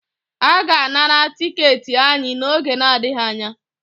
A ga-anara tiketi anyị n'oge na-adịghị anya